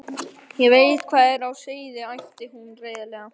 Ég veit hvað er á seyði, æpti hún reiðilega.